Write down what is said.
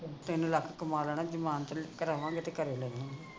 ਤਿੰਨ ਲੱਖ ਕਮਾ ਲੈਣੇ ਜਮਾਨਤ ਕਰਾਵਾਂਗੇ ਤੇ ਘਰੇ ਲੈ ਜਾਵਾਂਗੇ